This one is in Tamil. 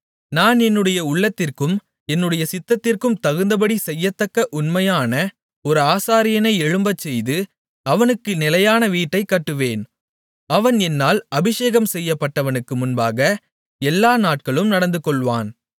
நான் என்னுடைய உள்ளத்திற்கும் என்னுடைய சித்தத்திற்கும் தகுந்தபடி செய்யத்தக்க உண்மையான ஒரு ஆசாரியனை எழும்பச்செய்து அவனுக்கு நிலையான வீட்டைக் கட்டுவேன் அவன் என்னால் அபிஷேகம் செய்யப்பட்டவனுக்கு முன்பாக எல்லா நாட்களும் நடந்துகொள்வான்